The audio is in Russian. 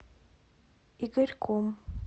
игорьком